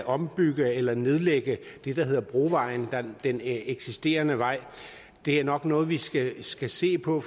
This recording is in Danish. ombygge eller nedlægge det der hedder brovejen der er den eksisterende vej det er nok noget vi skal skal se på